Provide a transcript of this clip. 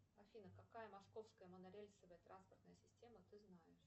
афина какая московская монорельсовая транспортная система ты знаешь